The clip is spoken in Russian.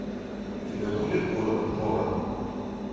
у тебя будет город прора